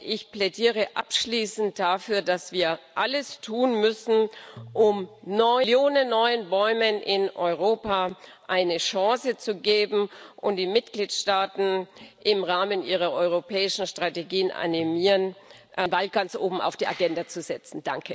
Ich plädiere abschließend dafür, dass wir alles tun müssen, um Millionen neuer Bäume in Europa eine Chance zu geben und die Mitgliedstaaten im Rahmen ihrer europäischen Strategien zu animieren, den Ball ganz oben auf die Agenda zu setzen.